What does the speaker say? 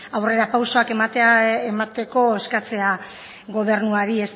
aurrera pausoak emateko eskatzea gobernuari